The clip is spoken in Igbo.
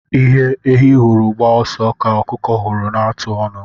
Ihe ehi hụrụ gbaa ọsọ ka ọkụkọ hụrụ na-atụ ọnu.